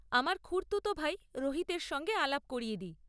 আমার খুড়তুত ভাই রোহিতের সঙ্গে আলাপ করিয়ে দিই।